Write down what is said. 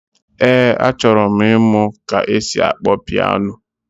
Ee, achọrọ m ịmụ ka esi akpọ pịano